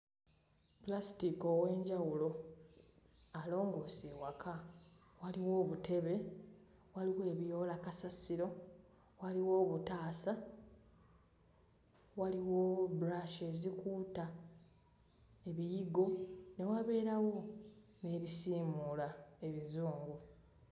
Pulasitiika ow'enjawulo alongoosa ewaka, waliwo obutebe, waliwo ebiyoola kasasiro, waliwo obutaasa waliwo brush ezikuuta ebiyigo, ne wabeerawo n'ebisiimuula ebizungu.